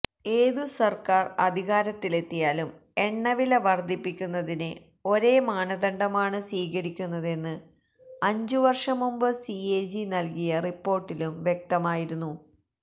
ഏതുസർക്കാർ അധികാരത്തിലെത്തിയാലും എണ്ണവില വർദ്ധിപ്പിക്കുന്നതിന് ഒരേ മാനദണ്ഡമാണ് സ്വീകരിക്കുന്നതെന്ന് അഞ്ചുവർഷം മുമ്പ് സിഎജി നൽകിയ റിപ്പോർട്ടിലും വ്യക്തമായിരുന്നു